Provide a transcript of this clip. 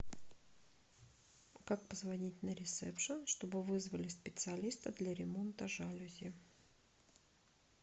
как позвонить на ресепшен чтобы вызвали специалиста для ремонта жалюзи